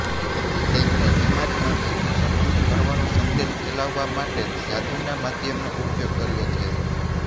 તેમણે સમાજમાંથી દૂષણ દૂર કરવાનો સંદેશ ફેલાવવા માટે જાદુના માધ્યમનો ઉપયોગ કર્યો છે